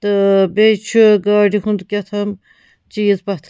.تہٕ بیٚیہِ چُھ گاڑِہُنٛدکہتام چیٖزپتھر